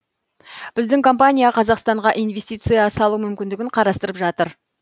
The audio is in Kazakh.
біздің компания қазақстанға инвестиция салу мүмкіндігін қарастырып жатыр